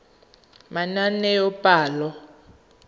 manaanepalo